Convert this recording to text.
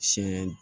Sɛ